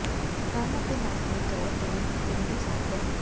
ਕੰਨ ਅਤੇ ਨੱਕ ਦੇ ਤੌਰ ਤੇ ਜ਼ਰੂਰੀ ਸਾਫ਼ ਕਰੋ